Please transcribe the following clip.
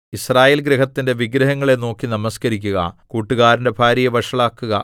യിസ്രായേൽ ഗൃഹത്തിന്റെ വിഗ്രഹങ്ങളെ നോക്കി നമസ്കരിക്കുക കൂട്ടുകാരന്റെ ഭാര്യയെ വഷളാക്കുക